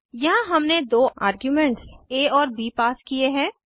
यहाँ हमने दो आर्ग्यूमेंट्स आ और ब पास किये हैं